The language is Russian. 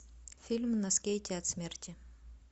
фильм на скейте от смерти